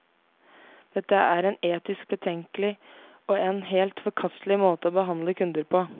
Dette er en etisk betenkelig og en helt forkastelig måte å behandle kunder på.